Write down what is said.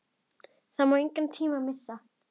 Það má engan tíma missa!